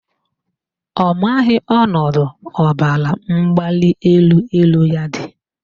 Ọ maghị ọnọdụ ọbaramgbalịelu elu ya dị